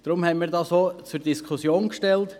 Deswegen haben wir dies zur Diskussion gestellt.